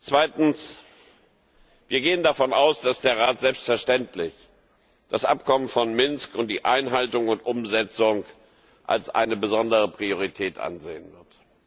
Zweitens Wir gehen davon aus, dass der Rat selbstverständlich das Abkommen von Minsk und die Einhaltung und Umsetzung als eine besondere Priorität ansehen wird.